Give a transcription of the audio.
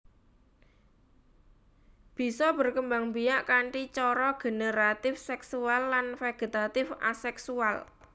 Bisa berkembangbiak kanthi cara generatif seksual lan vegetatif aseksual